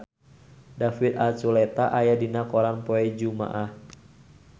David Archuletta aya dina koran poe Jumaah